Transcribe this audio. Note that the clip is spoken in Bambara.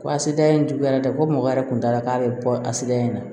Ko a se da in juguyara dɛ ko mɔgɔ yɛrɛ kun t'a la k'a bɛ bɔ a sedan in na